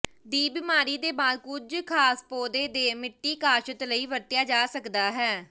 ਦੀ ਬਿਮਾਰੀ ਦੇ ਬਾਅਦ ਕੁਝ ਖਾਸ ਪੌਦੇ ਦੇ ਮਿੱਟੀ ਕਾਸ਼ਤ ਲਈ ਵਰਤਿਆ ਜਾ ਸਕਦਾ ਹੈ